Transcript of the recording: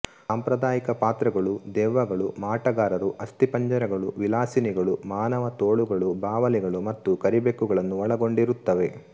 ಸಾಂಪ್ರದಾಯಿಕ ಪಾತ್ರಗಳು ದೆವ್ವಗಳು ಮಾಟಗಾರರು ಅಸ್ಥಿಪಂಜರಗಳು ವಿಲಾಸಿನಿಗಳು ಮಾನವತೋಳುಗಳು ಬಾವಲಿಗಳು ಮತ್ತು ಕರಿಬೆಕ್ಕುಗಳನ್ನು ಒಳಗೊಂಡಿರುತ್ತವೆ